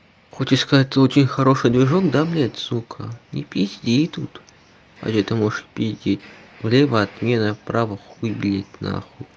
хоть искать очень хороший движок да блять сука не пизди тут хотя ты можешь пиздеть влево отмена права хуй блять нахуй